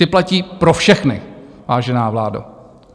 Ty platí pro všechny, vážená vládo.